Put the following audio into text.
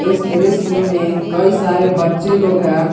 इस दृश्य में कई सारे बच्चे लोग हैं।